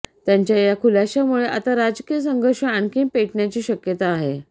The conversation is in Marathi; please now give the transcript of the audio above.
त्यांच्या या खुलाश्यामुळे आता राजकीय संघर्ष आणखी पेटण्याची शक्यता आहे